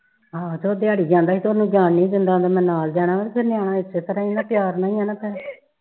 ਆਹ ਤੇ ਉਹ ਦਿਹਾੜੀ ਜਾਂਦਾ ਹੀ ਤੇ ਉਹਨੂੰ ਜਾਣ ਨਹੀਂ ਦਿੰਦਾ ਆਂਦਾ ਮੈਂ ਨਾਲ ਜਾਣਾ ਫਿਰ ਨਿਆਣਾ ਇਸੇ ਤਰ੍ਹਾਂ ਪਿਆਰ ਨਾਲ ਹੀ ਆ ਨਾ ਫਿਰ